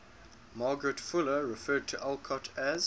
margaret fuller referred to alcott as